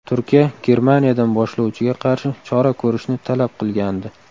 Turkiya Germaniyadan boshlovchiga qarshi chora ko‘rishni talab qilgandi.